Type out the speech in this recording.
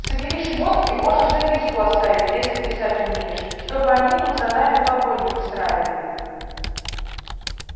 собери шмотки можешь записку оставить если писать умеешь чтобы они тут за нами погонь не устраивали